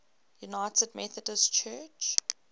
united methodist church